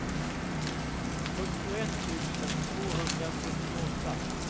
fyrtioett tusen tvåhundrasjuttioåtta